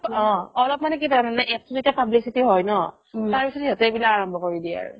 অ অলপ মানে কি জানা নে APP ৰ যেতিয়া publicity হয় ন তাৰ পিছত সিহতে এইবিলাক আৰাম্ব্য কৰি দিয়ে আৰু